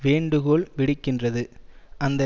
வேண்டுகோள் விடுக்கின்றது அந்த